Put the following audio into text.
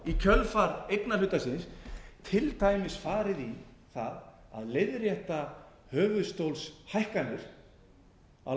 í kjölfar eignarhluta síns til dæmis farið í það að leiðrétta höfuðstólshækkanir á